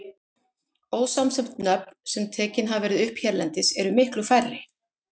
Ósamsett nöfn, sem tekin hafa verið upp hérlendis, eru miklu færri.